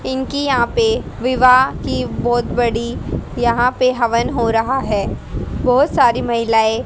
इनकी यहां पे विवाह की बहुत बड़ी यहां पे हवन हो रहा है। बहुत सारी महिलाएं--